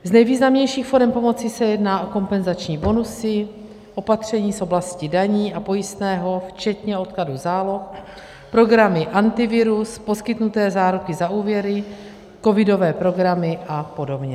Z nejvýznamnějších forem pomoci se jedná o kompenzační bonusy, opatření z oblasti daní a pojistného včetně odkladu záloh, programy Antivirus, poskytnuté záruky za úvěry, covidové programy a podobně.